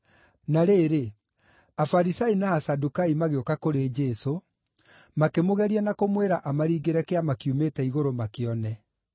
Na rĩrĩ, Afarisai na Asadukai magĩũka kũrĩ Jesũ, makĩmũgeria na kũmwĩra amaringĩre kĩama kiumĩte igũrũ makĩone.